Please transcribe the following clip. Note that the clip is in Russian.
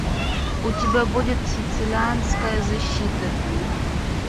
у тебя будет сицилианская защита